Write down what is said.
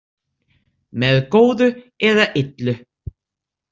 Með góðu eða illu.